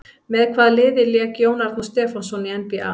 Með hvaða liði lék Jón Arnór Stefánsson í NBA?